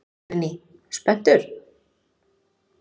Guðný: Spenntur?